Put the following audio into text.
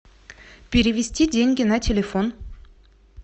перевести деньги на телефон